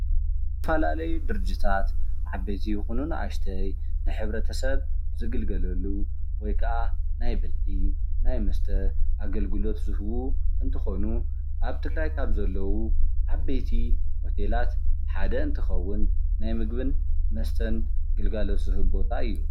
ዝተፈላለዩ ድርጅታት ዓበይቲ ይኹኑ አናእሽተይ ንሕብረተሰብ ዝግልገልሉ ወይ ከአ ናይ ምግቢ ፣ ናይ መስተ አገልግሎት ዝህቡ እንትኾኑ ፤ አብ ትግራይ ካብ ዘለው ዓበይቲ ሞዴላት ሓደ እንትኸውን ናይ ምግቢን መስተን ግልጋሎት ዝህብ ቦታ እዩ፡፡